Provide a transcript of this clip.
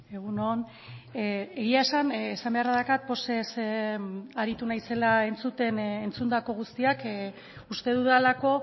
egun on egia esan esan beharra daukat pozez aritu naizela entzuten entzundako guztiak uste dudalako